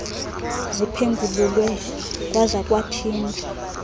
ziphengululwe kwaza kwathijwa